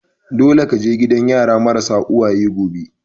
Dole ka je gidan yara marasa uwaye gobe!